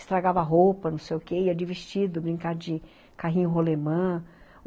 Estragava roupa, não sei o quê, ia de vestido, brincar de carrinho rolemã.